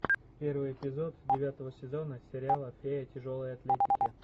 первый эпизод девятого сезона сериала фея тяжелой атлетики